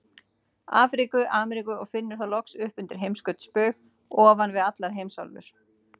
Afríku, Ameríku og finnur það loks upp undir heimskautsbaug, ofan við allar heimsálfur.